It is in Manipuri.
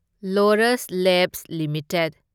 Laurus labs limited